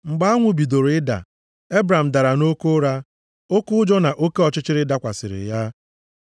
Mgbe anwụ bidoro ịda, Ebram dara nʼoke ụra, oke ụjọ na oke ọchịchịrị dakwasịrị ya.